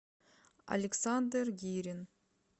александр гирин